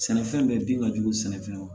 Sɛnɛfɛn bɛɛ bin ka jugu sɛnɛfɛn ma